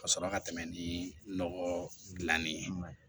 Ka sɔrɔ ka tɛmɛ ni nɔgɔ gilanni ye